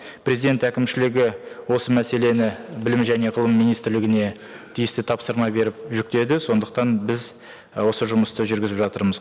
президент әкімшілігі осы мәселені білім және ғылым министрлігіне тиісті тапсырма беріп жүктеді сондықтан біз і осы жұмысты жүргізіп жатырмыз